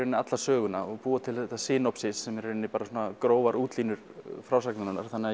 alla söguna og búa til þetta sem eru í rauninni bara grófar útlínur frásagnarinnar þannig að